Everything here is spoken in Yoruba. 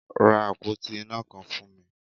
Ra àpótí iná kan fún mi!